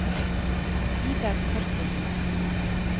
Vidar Torkildsen